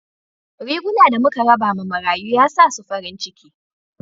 Riguna da muka raba ma marayu ya sa su farin ciki